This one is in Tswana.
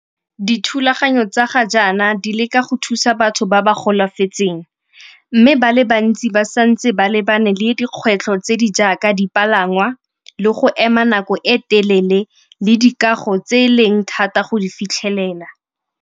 Dithulaganyo tsa ga jaana di leka go thusa batho ba ba golafetseng mme ba le bantsi ba santse ba lebane le dikgwetlho tse di jaaka dipalangwa le go ema nako e telele le dikago tse e leng thata go di fitlhelela.